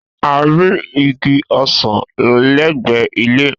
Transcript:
A rí igi ọsàn lẹ́gbẹ̀ẹ́ ilé